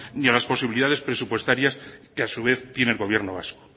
ni a las posibilidades presupuestarias que a su vez tiene el gobierno vasco